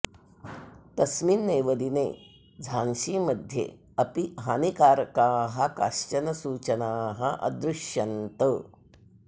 तस्मिन् एव दिने झान्सीमध्ये अपि हानिकारकाः काश्चन सूचनाः अदृश्यन्त